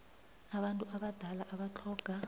abantu abadala abatlhoga